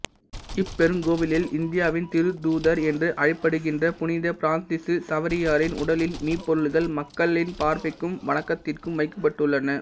இப்பெருங்கோவிலில் இந்தியாவின் திருத்தூதர் என்று அழைக்கப்படுகின்ற புனித பிரான்சிசு சவேரியாரின் உடலின் மீபொருள்கள் மக்களின் பார்வைக்கும் வணக்கத்திற்கும் வைக்கப்பட்டுள்ளன